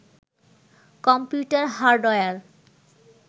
computer hardware